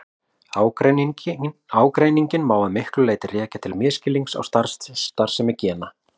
Ágreininginn má að miklu leyti rekja til misskilnings á starfsemi gena.